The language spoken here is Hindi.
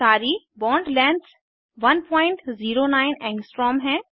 सारी बॉन्ड लेंग्थस 109 ऐंग्स्ट्रॉम हैं